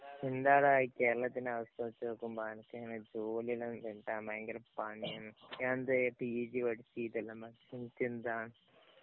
എന്താടാ ഈ കേരളത്തിന്‍റെ അവസ്ഥ വച്ച് നോക്കുമ്പോള്‍ എനക്ക് അങ്ങനെ ജോലിയെല്ലാം കിട്ടാന്‍ ഭയങ്കര പണിയാണ്. ഞാന്‍ ദേ പിജി പഠിച്ചു. ഇതെല്ലാം പഠിച്ചു. എന്നിട്ടെന്താ?